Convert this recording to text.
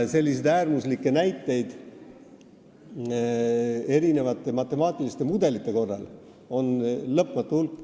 Selliseid äärmuslikke näiteid ja matemaatilisi mudeleid on lõpmatu hulk.